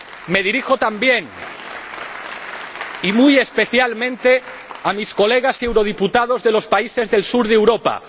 Me dirijo también, y muy especialmente, a mis colegas eurodiputados de los países del sur de Europa.